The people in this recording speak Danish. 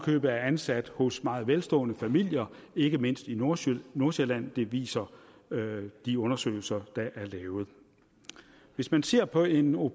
købet er ansat hos meget velstående familier ikke mindst i nordsjælland nordsjælland det viser de undersøgelser der er lavet og hvis man ser på en au